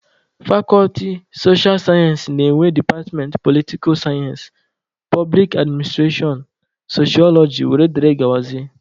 Fakọlti socha sayensị na-enwe departmentị politika sayensị, poblik adminstrashọn, soshọloji wdg.